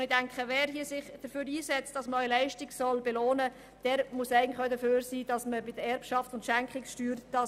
Wer sich dafür einsetzt, dass Leistung belohnt wird, muss eigentlich auch dafür sein, Erbschaften und Schenkungen zu besteuern.